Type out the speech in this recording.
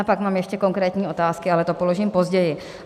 A pak mám ještě konkrétní otázky, ale to položím později.